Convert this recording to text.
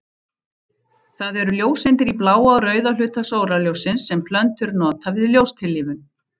Það eru ljóseindir í bláa og rauða hluta sólarljóssins sem plöntur nota við ljóstillífun.